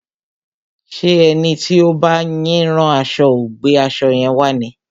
Ṣé ẹni tí ó ń bá yín rán aṣo ò gbé aṣo yẹn wá ni?